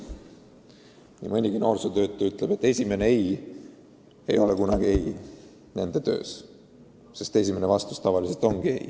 Nii mõnigi noorsootöötaja arvab, et esimene "ei" pole nende töös kunagi lõplik "ei", sest esimene vastus tavaliselt ongi "ei".